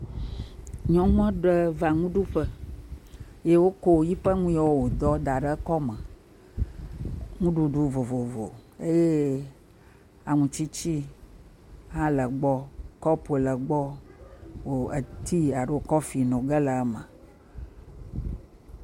Nyɔnu aɖe va nuɖuƒe, ye wokɔ nu yiwo wòdɔ da ɖe ekɔme. Nuɖuɖu vovovo eye aŋutsitsi hã le egbɔ. Kɔpo le egbɔ, oo etii alo kɔfi no ge le eme.